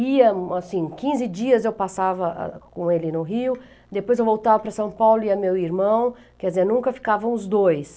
Ia, assim, quinze dias eu passava com ele no Rio, depois eu voltava para São Paulo e ia meu irmão, quer dizer, nunca ficavam os dois.